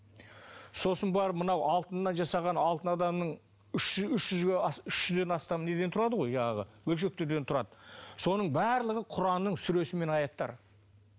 сосын барып мынау алтыннан жасаған алтын адамның үш жүзден астам неден тұрады ғой жаңағы бөлшектерден тұрады соның барлығы құранның сүресі мен аяттары